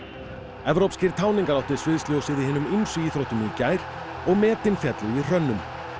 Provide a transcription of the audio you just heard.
evrópskir táningar áttu sviðsljósið í hinum ýmsu íþróttum í gær og metin féllu í hrönnum